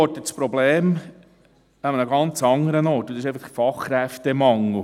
Ich orte das Problem an einem ganz anderen Ort, und zwar einfach beim Fachkräftemangel.